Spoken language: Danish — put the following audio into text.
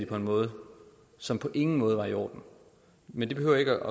på en måde som på ingen måde var i orden men det behøver ikke